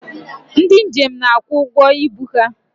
Ndị njem na-akwụ ụgwọ ibu ha.